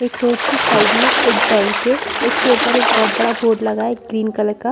एक रोड के साइड में बैंक है उसके ऊपर एक बोहोत बड़ा बोर्ड लगा है ग्रीन कलर का--